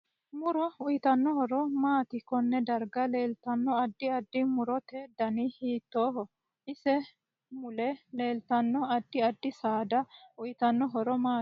Muro uyiitanno horo maati konne darga leeltanno addi addi murote dani hiitooho ise mule leeltanno addi addi saada uyiitanno horo maati